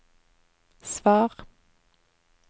svar